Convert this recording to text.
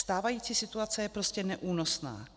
Stávající situace je prostě neúnosná.